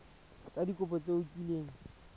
ka dikopo tse o kileng